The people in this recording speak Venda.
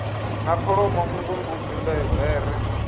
na kholomo nngu mbudzi bere